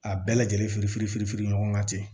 A bɛɛ lajɛlen firi ɲɔgɔn ka ten